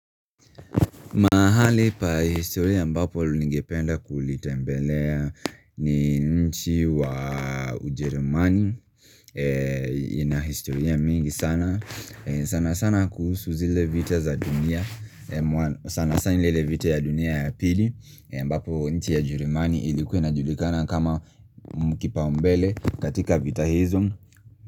Mahali pa historia ambapo ningependa kulitembelea ni nchi wa ujeremani eeeh Inahistoria mingi sana, eeh sana sana kuhusu zile vita za dunia eeeh sana sana ni ile vita ya dunia ya pili eeh mbapo nchi ya jerumani ilikuwa inajulikana kama mhh kipao umbele katika vita hizo.